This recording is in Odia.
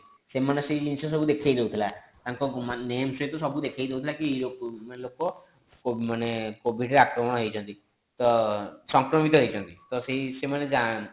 ସେମାନେ ସେଇ ଜିନିଷ ସବୁ ଦେଖେଇ ଦୋଉଥିଲା ତାଙ୍କ ମାନେ name ସହିତ ଦେଖେଇ ସବୁ ଦୋଉଥିଲା କି ଲୋକ ମାନେ ଲୋକ covid ରେ ଆକ୍ରମଣ ହେଇଛନ୍ତି ତ ସଂକ୍ରମିତ ହେଇଛନ୍ତି ତ ସେ ସେଇମାନେ